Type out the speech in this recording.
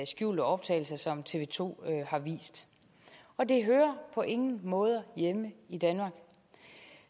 skjulte optagelser som tv to har vist og det hører på ingen måde hjemme i danmark